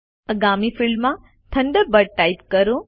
આગામી ફિલ્ડમાં Thunderbird type કરો